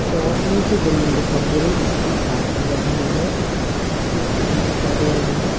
और नीचे जमीन दिखाई दे रही है जिसपे घास भी लगी हुई है मिट्टी भी दिखाई दे रही है।